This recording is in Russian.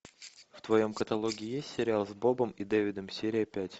в твоем каталоге есть сериал с бобом и дэвидом серия пять